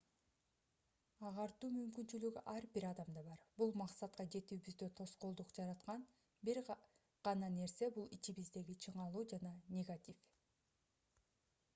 агартуу мүмкүнчүлүгү ар бир адамда бар бул максатка жетүүбүздө тоскоолдук жараткан бир гана нерсе бул ичибиздеги чыңалуу жана негатив